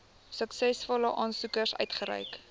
suksesvolle aansoekers uitgereik